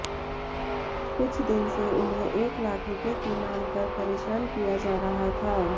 कुछ दिन से उन्हें एक लाख रुपए की मांग कर परेशान किया जा रहा था